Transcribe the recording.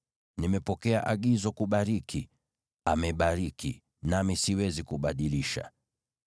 Nimepokea agizo kubariki; amebariki, nami siwezi kubadilisha.